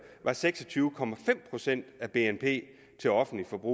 var seks og tyve procent af bnp til offentligt forbrug